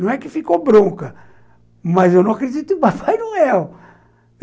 Não é que ficou bronca, mas eu não acredito em Papai Noel.